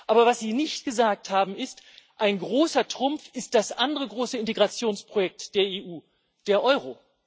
Aber was Sie nicht gesagt haben, ist Ein großer Trumpf ist das andere große Integrationsprojekt der EU der Euro.